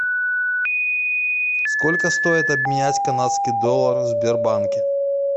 сколько стоит обменять канадский доллар в сбербанке